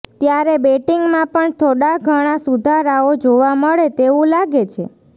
ત્યારે બેટીંગમાં પણ થોડા ઘણા સુધારાઓ જોવા મળે તેવું લાગે છે